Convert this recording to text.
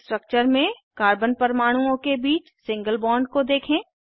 structures में carbon परमाणुओं के बीच सिंगल बॉन्ड को देखें